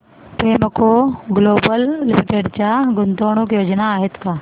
Premco global limited च्या गुंतवणूक योजना आहेत का